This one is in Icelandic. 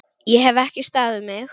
Ég hef ekki staðið mig!